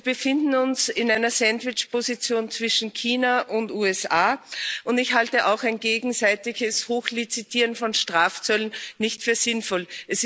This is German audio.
Wir befinden uns in einer Sandwichposition zwischen China und den USA, und ich halte auch ein gegenseitiges Hochlizitieren von Strafzöllen nicht für sinnvoll.